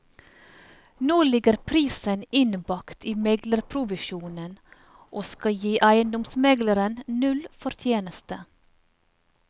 Nå ligger prisen innbakt i meglerprovisjonen, og skal gi eiendomsmegleren null fortjeneste.